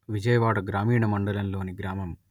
విజయవాడ గ్రామీణ మండలం లోని గ్రామం